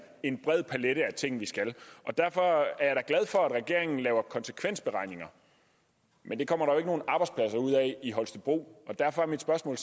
en bred palet af ting vi skal derfor er jeg da glad for at regeringen laver konsekvensberegninger men det kommer af i holstebro derfor er mit spørgsmål